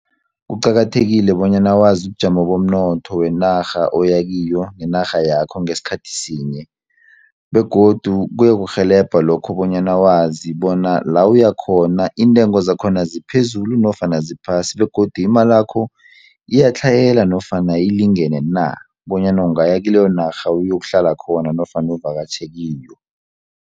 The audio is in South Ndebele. Kuqakathekile bonyana wazi ubujamo bomnotho wenarha oyakiyo nenarha yakho ngesikhathi sinye begodu kuyokurhelebha lokho bonyana wazi bona la uyakhona iintengo zakhona ziphezulu nofana ziphasi begodu imalakho iyatlhayela nofana ilingene na bonyana ungaya kileyo narha uyokuhlala khona nofana uvakatjhe kiyo.